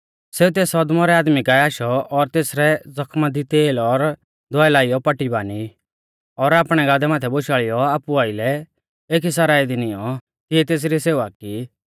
सेऊ तेस अदमौरै आदमी काऐ आशौ और तेसरै ज़खमा दी तेल और दवाई लाइयौ पट्टी बानी और आपणै गादै माथै बोशाल़ीयौ आपु आइलै एकी सरायं दी निऔं तिऐ तेसरी सेवा की